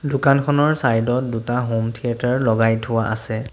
দোকানখনৰ চাইড ত দুটা হম থিয়েটাৰ লগাই থোৱা আছে।